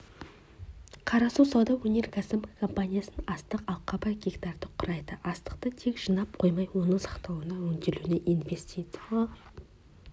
қарасу сауда-өнеркәсіп компаниясының астық алқабы гектарды құрайды астықты тек жинап қоймай оның сақталуына өңделуіне инвестициялар